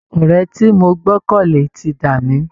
Ọ̀rẹ́ tí mo gbọ́kànlé ti dà mí